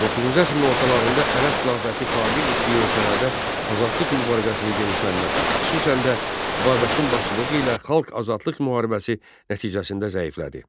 Doqquzuncu əsrin ortalarında Ərəb xilafəti tabe etdiyi ölkələrdə azadlıq mübarizəsinin genişlənməsi, xüsusən də Babəkin başçılığı ilə Xalq Azadlıq müharibəsi nəticəsində zəiflədi.